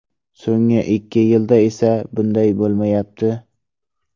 So‘nggi ikki yilda esa bunday bo‘lmayapti.